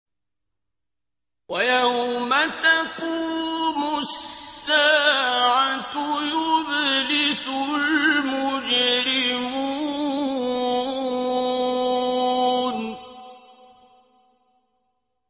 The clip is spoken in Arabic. وَيَوْمَ تَقُومُ السَّاعَةُ يُبْلِسُ الْمُجْرِمُونَ